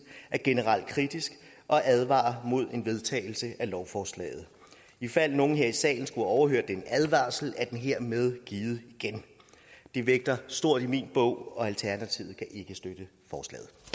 er generelt kritiske og advarer imod en vedtagelse af lovforslaget ifald nogen her i salen skulle have overhørt den advarsel er den hermed givet igen det vægter stort i min bog og